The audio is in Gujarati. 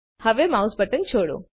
હવે માઉસ બટન છોડો